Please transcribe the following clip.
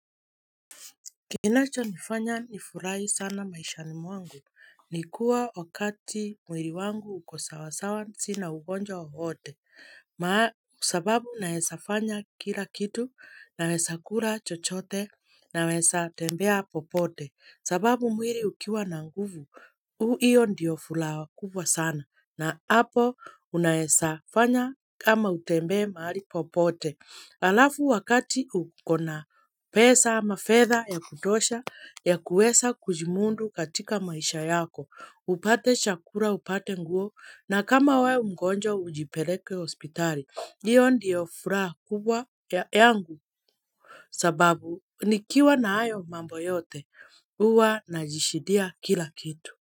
Kinacho nifanya nifurahi sana maishani mwangu. Nikuwa wakati mwili wangu uko sawasawa sina ugonjwa wowote. Kwa sababu naeza fanya kila kitu naeza kula chochote naweza tembea popote. Sababu mwili ukiwa na nguvu, hiyo ndio furaha kubwa sana na hapo unaezafanya kama utembe mahali popote. Alafu wakati ukona pesa ama fedha ya kutosha ya kuweza kujimundu katika maisha yako, upate chakula, upate nguo, na kama wewe mgonjwa ujipeleke hospitali, hiyo ndio furaha kubwa yangu sababu nikiwa na hayo mambo yote, uwa najishidia kila kitu.